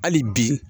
Hali bi